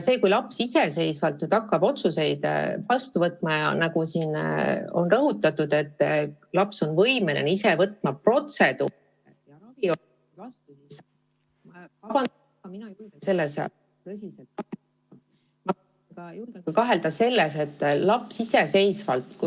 Kui laps hakkab iseseisvalt otsuseid vastu võtma – siin on rõhutatud, et laps on võimeline ise protseduuri ja raviga seotud otsuseid vastu võtma –, siis mina julgen küll selles tõsiselt kahelda.